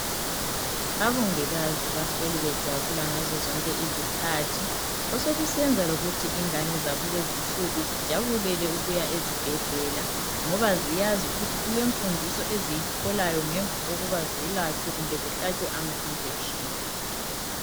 abongikazi bahleli bejabula ngazo zonke izikhathi osokusenza lokuthi ingane zakulezi insuku zijabulele ukuya ezibhedlela ngoba ziyazi ukuthi kulemfundiso eziyitholayo ngemva kokuba zelatshwe kumbe zihlatshwe ama injections